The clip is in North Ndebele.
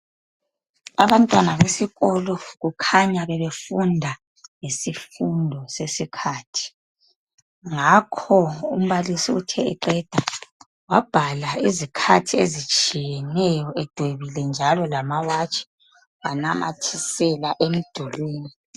Abantwana besikolo kukhanya bebefunda ngesifundo sesikhathi ngakho umbalisi uthe eqeda wabhala izikhathi ezitshiyeneyo edwebile njalo lamawatch wanamathisela emdulwini